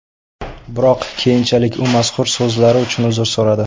Biroq keyinchalik u mazkur so‘zlari uchun uzr so‘radi .